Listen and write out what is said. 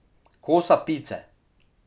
Kosa pice.